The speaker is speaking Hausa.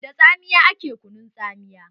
Da tsamiya ake kunun tsamiya.